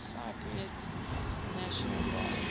cypriot national guard